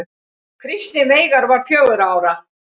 Kristinn Veigar var fjögurra ára.